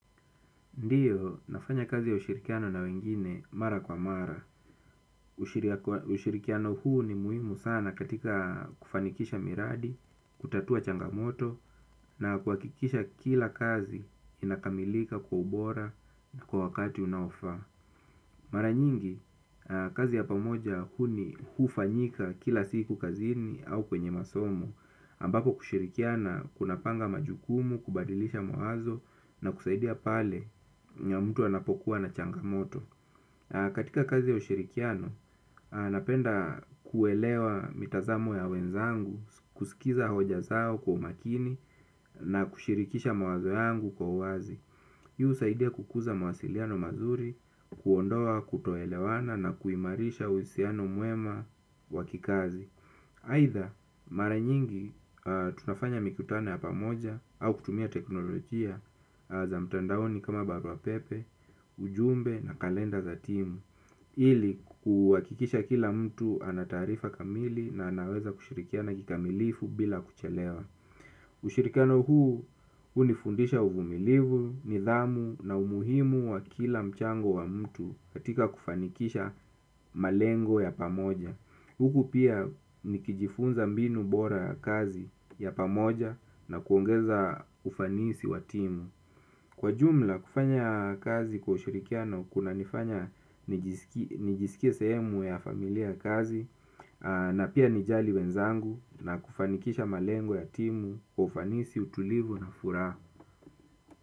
Ndiyo, nafanya kazi ya ushirikiano na wengine mara kwa mara ushiriak. Ushirikiano huu ni muhimu sana katika kufanikisha miradi, kutatua changamoto, na kuhakikisha kila kazi inakamilika kwa ubora na kwa wakati unaofaa. Mara nyingi, kazi ya pamoja huni hufanyika kila siku kazini au kwenye masomo ambapo kushirikiana kunapanga majukumu, kubadilisha mawazo na kusaidia pale mtu anapokuwa na changamoto. Katika kazi ya ushirikiano, napenda kuelewa mitazamo ya wenzangu, kusikiza hoja zao kwa umakini na kushirikisha mawazo yangu kwa uwazi. Hii husaidia kukuza mawasiliano mazuri, kuondoa kutoelewana na kuimarisha uhusiano mwema wa kikazi. Aidha, mara nyingi tunafanya mikutano ya pamoja, au kutumia teknolojia za mtandaoni kama barua pepe, ujumbe na kalenda za timu. Ili kuhakikisha kila mtu anataarifa kamili na anaweza kushirikiana kikamilifu bila kuchelewa. Ushirikiano huu, hunifundisha uvumilivu, nidhamu na umuhimu wa kila mchango wa mtu katika kufanikisha malengo ya pamoja. Huku pia nikijifunza mbinu bora ya kazi ya pamoja na kuongeza ufanisi wa timu. Kwa jumla kufanya kazi kwa ushirikiano kunanifanya nijiski nijisikie sehemu ya familia ya kazi na pia nijali wenzangu na kufanikisha malengu ya timu kwa ufanisi utulivu na furaha.